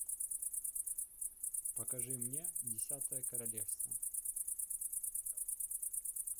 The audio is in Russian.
покажи мне десятое королевство